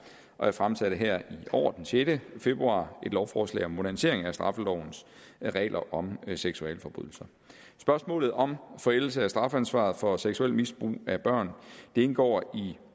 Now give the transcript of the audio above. og jeg fremsatte her i år den sjette februar et lovforslag om en modernisering af straffelovens regler om seksualforbrydelser spørgsmålet om forældelse af strafansvar for seksuelt misbrug af børn indgår i